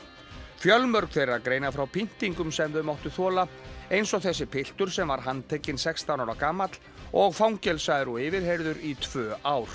fjölmörg þeirra greina frá pyntingum sem þau máttu þola eins og þessi piltur sem var handtekinn sextán ára gamall og fangelsaður og yfirheyrður í tvö ár